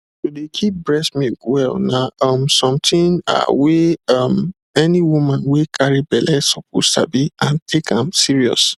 to dey keep breast milk well na um something ahh wey um any woman wey carry belle suppose sabi and take am serious